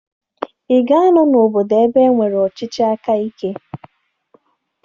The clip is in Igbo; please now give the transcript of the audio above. Ị ga-anọ n'obodo ebe e nwere ọchịchị aka ike?